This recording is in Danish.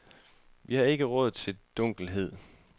Vi har ikke råd til dunkelhed.